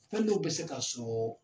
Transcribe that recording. Fɛn dɔw bɛ se ka sɔ